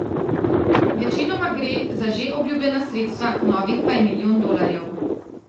Večinoma gre za že obljubljena sredstva, novih pa je milijon dolarjev.